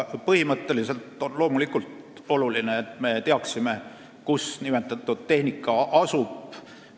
Põhimõtteliselt on loomulikult oluline, et me teaksime, kus see tehnika asub.